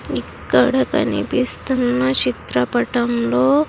ఇక్కడ కనిపిస్తున్న చిత్రపటంలో.